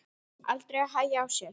Aldrei að hægja á sér.